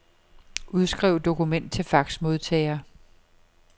Udskriv dokument til faxmodtager.